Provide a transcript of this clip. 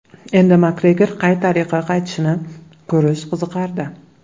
Endi Makgregor qay tariqa qaytishini ko‘rish qiziqardi.